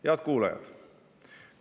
Head kuulajad!